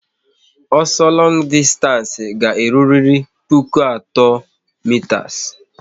Ọsọ longu dịstanci ga-eruriri puku atọ mitas